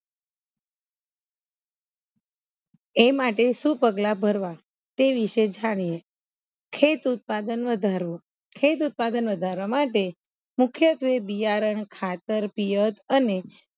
એ માટે સુ પગલા ભરવા તે વિશે જાણીએ ખેત ઉત્પાદન વધારવો ખેત ઉત્પાદન વધારવા માટે મુખ્યત્વે બિયારણ ખાતર પિયત અને